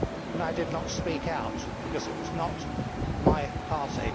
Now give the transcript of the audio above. and I did not speak out because it was not my party.'